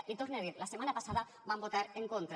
l’hi torne a dir la setmana passada van votar en contra